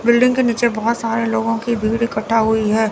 Building के नीचे बहोत सारे लोगों की भीड़ इकट्ठा हुई है।